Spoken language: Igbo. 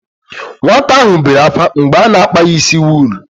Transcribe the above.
Nwata ahụ bere ákwá mgbe a na-akpa ya ísí wuull.